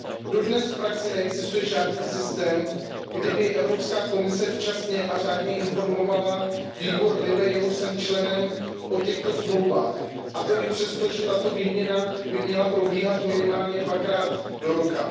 Dodnes v praxi neexistuje žádný systém, kterým by Evropská komise včas a řádně informovala výbor LIBE, jehož jsem členem, o těchto dohodách. A to i přesto, že tato výměna by měla probíhat minimálně dvakrát do roka.